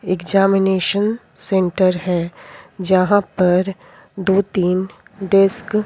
examination centre है जहाँ पर दो तीन डेस्क --